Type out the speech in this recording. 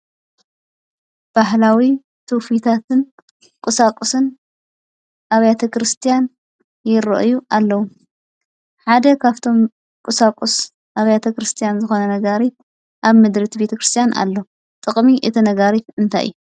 ባህላዊ ትውፊታትን ቁሳቊስን ኣብያተ ክርስቲያን ይርኣዩ ኣለዉ። ሓደ ካብቶም ቁሶቊስ ኣብያተ ክርስቲያን ዝኾነ ነጋሪት ኣብ ምድሪ እቲ ቤተ ክርስቲያን ኣሎ። ጥቕሚ እቲ ነጋሪት እንታይ እዩ?